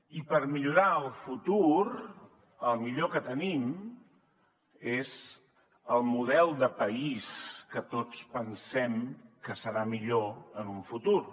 i per millorar el futur el millor que tenim és el model de país que tots pensem que serà millor en un futur